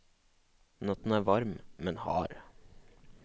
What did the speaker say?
Natten er varm, men hard.